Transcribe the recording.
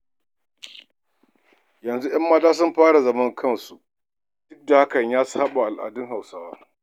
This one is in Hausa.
Yanzu ‘yan mata sun fara zaman kansu duk kuwa da hakan ya saɓa wa al’adar Hausawa.